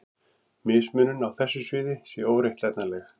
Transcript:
Mismunun á þessu sviði sé óréttlætanleg.